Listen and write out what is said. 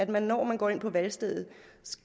valg når man går ind på valgstedet